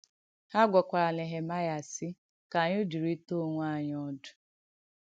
Hà gwàkwàrà Nèhèmàịà, sị̀: Ka ànyị̣ dụ̀rị̀tà ònwè ànyị̣ òdụ̀.